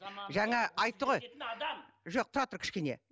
жаңа айтты ғой жоқ тұра тұр кішкене